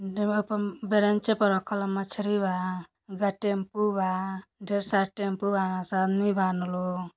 डेबा प बरेंचे प रखल बा। मछरी बा गा-टेम्पू बा। ढेर सारा टेम्पू बाड़ सन अदमी बान लो।